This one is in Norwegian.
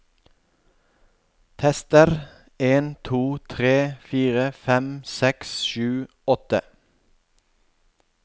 Tester en to tre fire fem seks sju åtte